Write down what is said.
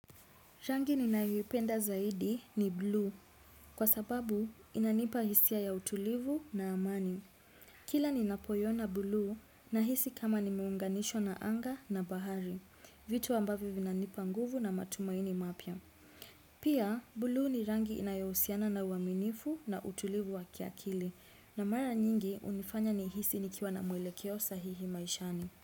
Rangi ninayoipenda zaidi ni blue kwa sababu inanipa hisia ya utulivu na amani. Kila ninapoiona blue na hisi kama nimeunganishwa na anga na bahari, vitu ambavyo vina nipa nguvu na matumaini mapya. Pia, blue ni rangi inayohusiana na uaminifu na utulivu wa kiakili na mara nyingi unifanya ni hisi nikiwa na mwelekeo sahihi maishani.